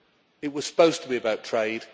It was supposed to be about trade.